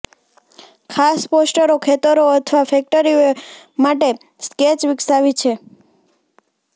ખાસ પોસ્ટરો ખેતરો અથવા ફેક્ટરીઓ માટે સ્કેચ વિકસાવી છે